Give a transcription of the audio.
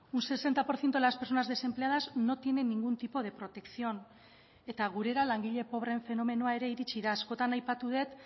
un sesenta por ciento de las personas desempleadas no tiene ningún tipo de protección eta gurera langile pobreen fenomenoa ere iritsi da askotan aipatu dut